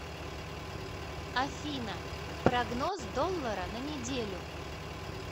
афина прогноз доллара на неделю